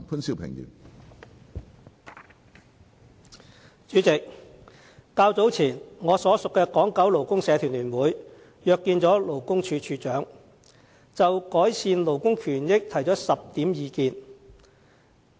主席，較早前，我所屬的港九勞工社團聯會約見勞工處處長，就改善勞工權益提出了10點意見。